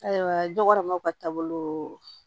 Ayiwa jɛgɛmaw ka taabolo